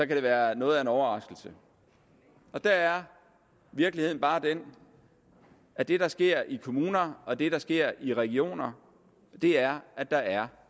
kan være noget af en overraskelse der er virkeligheden bare den at det der sker i kommuner og det der sker i regioner er at der er